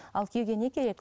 ал күйеуге не керек